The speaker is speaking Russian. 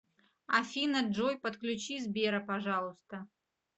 афина джой подключи сбера пожалуйста